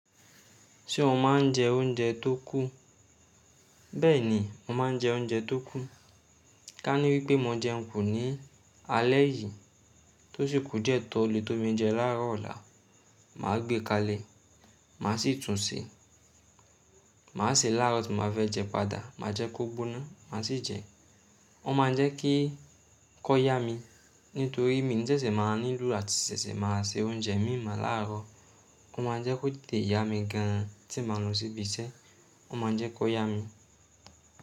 Ṣé o máa ń jẹ oúnjẹ tó kù? Bẹ́ẹ̀ ni, mo máa ń jẹ oúnjẹ tó kù. Ka ní wípé mo jẹun kù ní alẹ́ yìí tó sì kù diẹ tọ̀ lẹ́tò bí mo jẹ láàárọ̀ ọ̀la, màá gbé kalẹ̀, màá sì tún ṣè, màá ṣè láàárọ̀ tí màá fẹ́ jẹ padà, màá jẹ kó gbóná, màá sì jẹ. Ó máa ń jẹ́ kí kó yá mi nítorí mi ní sẹ̀sẹ̀ máa nílò àti sẹ̀sẹ̀ máa se oúnjẹ míi mo láàárọ̀. Ó máa ń jẹ́ kó tẹ̀ te yá mi gan ti màá lọ síbi iṣẹ́, ó máa ń jẹ́ kó yá mi.